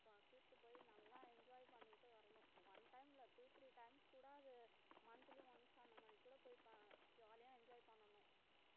கூட்டிட்டு போயி நல்லா enjoy பண்ணிட்டு வரணும் one time ல two three times கூட அது monthly once அந்த மாதிரி கூட போய் பா~ jolly ஆ enjoy பண்ணணும்